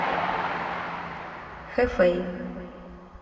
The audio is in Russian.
хэфэй